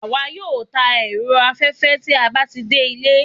awa yoo tàn erò aféfé tí a ba ti de ìlé